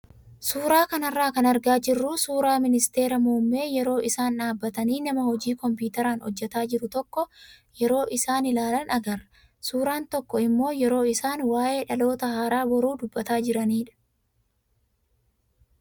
Suuraa kanarraa kan argaa jirru suuraa ministeera muummee yeroo isaan dhaabbatanii nama hojii kompiitaraan hojjataa jiru tokko yeroo isaan ilaalan agarra. Suuraan tokko immoo yeroo isaan waayee dhaloota haaraa boruu dubbataa jiranidha.